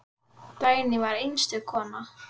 Dagný var einstök kona.